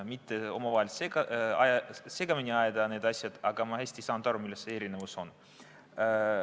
Püüan omavahel mitte segamini ajada neid asju, aga ma hästi ei saanud aru, milles see erinevus on.